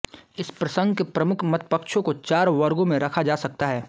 इस प्रसंग के प्रमुख मतपक्षों को चार वर्गो में रखा जा सकता है